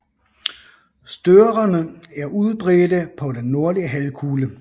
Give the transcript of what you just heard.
Størerne er udbredte på den nordlige halvkugle